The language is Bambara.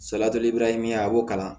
min ye a b'o kalan